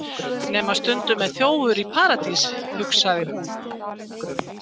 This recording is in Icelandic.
Nema að stundum er þjófur í Paradís, hugsaði hún.